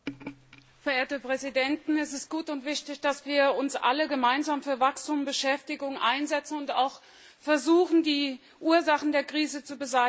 Verehrte Präsidenten! Es ist gut und wichtig, dass wir uns alle gemeinsam für Wachstum und Beschäftigung einsetzen und auch versuchen, die Ursachen der Krise zu beseitigen.